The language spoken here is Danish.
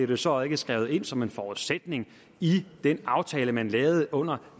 det så ikke skrevet ind som en forudsætning i den aftale man lavede under